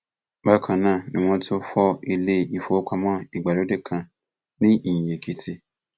bákan náà ni wọn tún fọ ilé ìfowópamọ ìgbàlódé kan ní ìyìnèkìtì